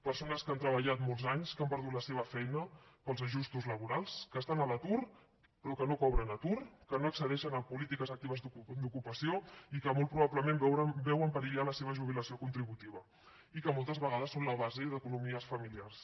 persones que han treballat molts anys que han perdut la seva feina pels ajustos laborals que estan a l’atur però que no cobren atur que no accedeixen a polítiques actives d’ocupació i que molt probablement veuen perillar la seva jubilació contributiva i que moltes vegades són la base d’economies familiars